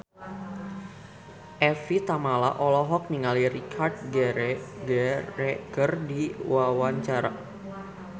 Evie Tamala olohok ningali Richard Gere keur diwawancara